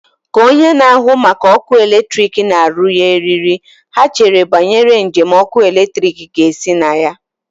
Ka onye na-ahụ maka ọkụ eletrik na-arụnye eriri, ha chere banyere njem ọkụ eletrik ga-esi na ya.